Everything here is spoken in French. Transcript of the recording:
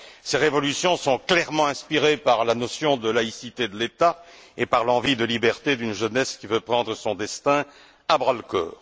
Ces révolutions sont clairement inspirées par la notion de laïcité de l'État et par l'envie de liberté d'une jeunesse qui veut prendre son destin à bras le corps.